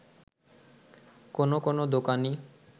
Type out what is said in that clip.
কোন কোন দোকানি